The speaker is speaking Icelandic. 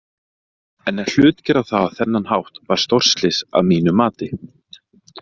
En að hlutgera það á þennan hátt var stórslys að mínu mati.